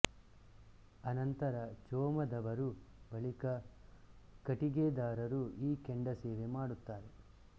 ಅನಂತರ ಚೋಮದವರು ಬಳಿಕ ಕಟಿಗೆದಾರರು ಈ ಕೆಂಡ ಸೇವೆ ಮಾಡುತ್ತಾರೆ